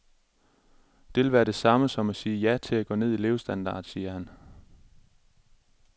Det vil være det samme som at sige ja til at gå ned i levestandard, siger han.